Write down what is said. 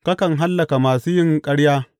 Kakan hallaka masu yin ƙarya.